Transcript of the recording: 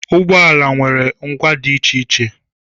Ụgbọ ala nwere ngwa dị iche iche